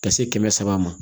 Ka se kɛmɛ saba ma